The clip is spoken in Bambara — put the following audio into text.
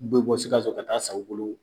U bɛ bɔ Sikaso ka taa san u bolo